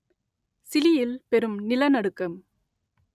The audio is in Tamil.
சிலியில் பெரும் நிலநடுக்கம்